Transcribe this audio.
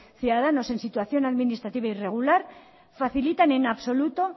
ciudadanos en situación administrativa irregular facilitan en absoluto